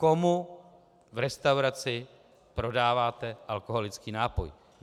Komu v restauraci prodáváte alkoholický nápoj?